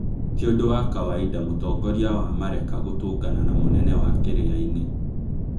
Ti ũndo wa kawaida mũtongoria wa mareka gũtũngana na munene wa kĩrĩainĩ